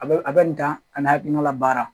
A bɛ a bɛ nin dan a n'a hakilina baara